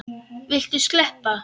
Viltu sleppa!